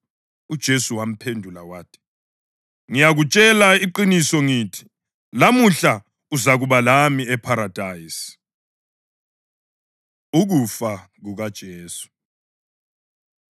UJesu wamphendula wathi, “Ngiyakutshela iqiniso ngithi, lamuhla uzakuba lami epharadise.” Ukufa KukaJesu